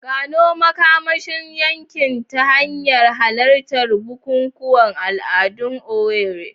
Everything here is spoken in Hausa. Gano makamashin yankin ta hanyar halartar bukukuwan al'adu a Owerri.